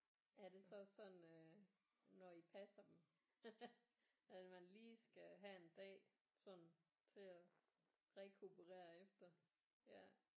Er det så sådan øh når I passer dem at man lige skal have en dag sådan til at rekuperere efter ja